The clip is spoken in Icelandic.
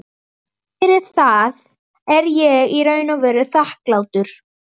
Fyrir það er ég í raun og veru þakklátur.